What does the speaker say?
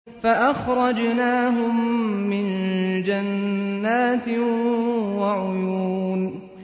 فَأَخْرَجْنَاهُم مِّن جَنَّاتٍ وَعُيُونٍ